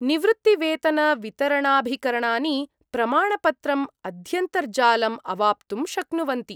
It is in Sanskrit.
निवृत्तिवेतनवितरणाभिकरणानि प्रमाणपत्रम् अध्यन्तर्जालम् अवाप्तुं शक्नुवन्ति।